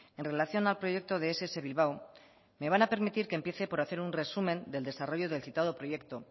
en relación al proyecto de ess bilbao me van a permitir que empiece por hacer un resumen del desarrollo del citado proyecto